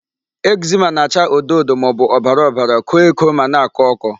Eczema na-acha odo odo maọbụ ọbara ọbara, koo eko ma na-akọ ọkọ.